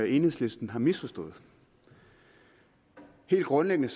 enhedslisten har misforstået helt grundlæggende